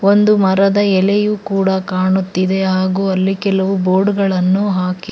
ಒಂದು ಮರದ ಎಲೆಯೂ ಕೂಡ ಕಾಣುತ್ತಿದೆ ಹಾಗೂ ಅಲ್ಲಿ ಕೆಲವು ಬೋರ್ಡ್ ಗಳನ್ನು ಹಾಕಿ--